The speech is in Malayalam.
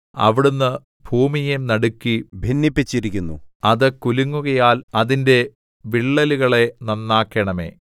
അവിടുന്ന് ഭൂമിയെ നടുക്കി ഭിന്നിപ്പിച്ചിരിക്കുന്നു അത് കുലുങ്ങുകയാൽ അതിന്റെ വിള്ളലുകളെ നന്നാക്കണമേ